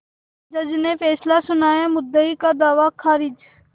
जज ने फैसला सुनायामुद्दई का दावा खारिज